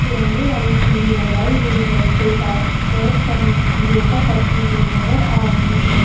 तिरंगे वाली चुन्नी लगाई हुई है जो गा बैठकर योगा करती हुई नजर आ रही है।